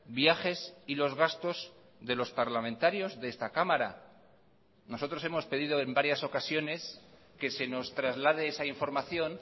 viajes y los gastos de los parlamentarios de esta cámara nosotros hemos pedido en varias ocasiones que se nos traslade esa información